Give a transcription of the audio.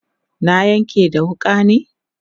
na Yanƙe da wuƙa ne